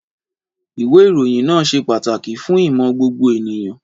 Ìwé ìròyìn náà ṣe pàtàkì fún ìmọ̀ gbogbo ènìyàn.